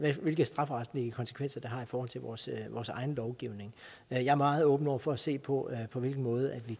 hvilke strafferetlige konsekvenser det har i forhold til vores egen lovgivning jeg er meget åben over for at se på på hvilken måde vi